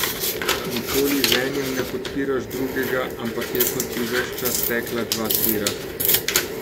Nikoli z enim ne podpiraš drugega, ampak je, kot bi ves čas tekla dva tira.